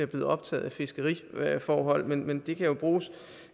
blevet optaget af fiskeriforhold men men det kan jo bruges